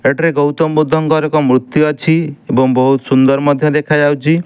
ସେଟିରେ ଗୌତମ ବୁଦ୍ଧଙ୍କର ଏକ ମୂର୍ତ୍ତି ଅଛି। ଏବଂ ବୋହୁତ ସୁନ୍ଦର ମଧ୍ୟ ଦେଖାଯାଉଚି।